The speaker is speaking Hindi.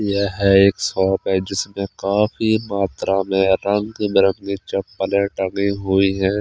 यह एक शॉप है जिसमे काफी मात्रा में रंग बिरंगी चप्पलें टंगी हुई है।